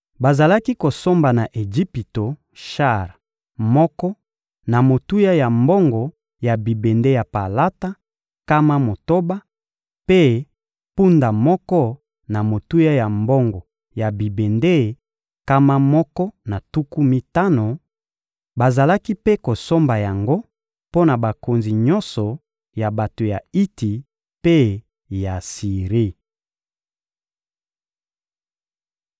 Bazalaki kosomba na Ejipito shar moko na motuya ya mbongo ya bibende ya palata, nkama motoba, mpe mpunda moko na motuya ya mbongo ya bibende, nkama moko na tuku mitano; bazalaki mpe kosomba yango mpo na bakonzi nyonso ya bato ya Iti mpe ya Siri.